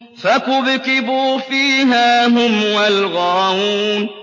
فَكُبْكِبُوا فِيهَا هُمْ وَالْغَاوُونَ